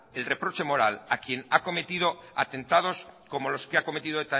el reproche moral a quien ha cometido atentados como los que ha cometido